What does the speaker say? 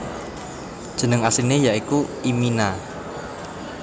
Jeneng asliné ya iku imina